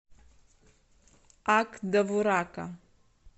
ак довурака